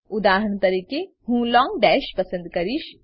ઉદાહરણ તરીકે હું લોંગ દશ પસંદ કરીશ